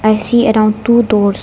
I see around two doors.